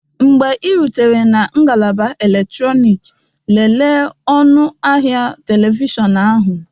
Mgbe ị rutere na ngalaba eletrọnịkị, lelee ọnụ ahịa telivishọn ahụ